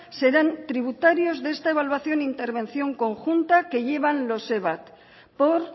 serán tributarios de esta evaluación e intervención conjunta que llevan los evat por